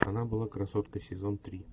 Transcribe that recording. она была красоткой сезон три